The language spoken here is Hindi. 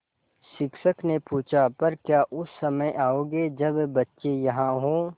शिक्षक ने पूछा पर क्या उस समय आओगे जब बच्चे यहाँ हों